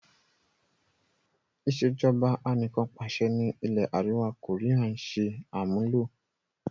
Ìsèjọba anìkanpàṣẹ ni ilẹ̀ àríwá koría ń ṣe àmúlò.